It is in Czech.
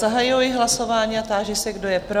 Zahajuji hlasování a táži se, kdo je pro?